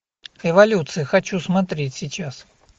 эволюция хочу смотреть сейчас